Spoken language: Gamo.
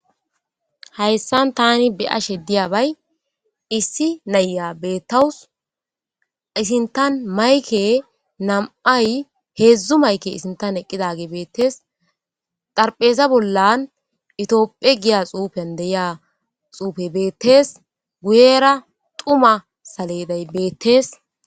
Hayssan tani be ashe diyabay issi nayya beettawus isintan mayke nam7ay heedzdzu mayke isintan eqqidage beettees xarpheza bollan itiophe giya xuufen deyiya xuufe beettees guyera tuma saledey beettees.